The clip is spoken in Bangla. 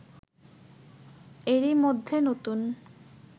এরই মধ্যে নতুন